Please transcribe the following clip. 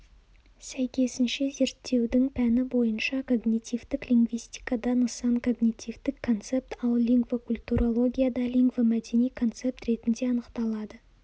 сәйкесінше зерттеудің пәні бойынша когнитивтік лингвистикада нысан когнитивтік концепт ал лингвокультурологияда лингвомәдени концепт ретінде анықталады